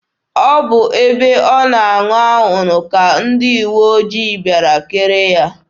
Ọ bụ ebe ọ na-aṅụ anwụrụ ka ndị uwe ojii bịara kere ya.